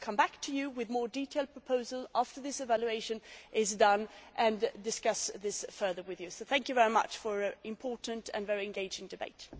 We will come back to you with more detailed proposals after this evaluation has been carried out and discuss this further with you. Thank you very much for an important and very engaging debate.